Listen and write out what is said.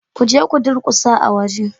Kuje ku durkusa a waje